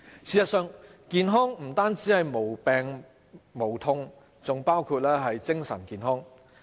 事實上，健康不止是無病無痛，還包括精神健康。